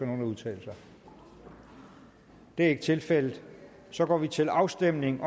nogen at udtale sig det er ikke tilfældet så går vi til afstemning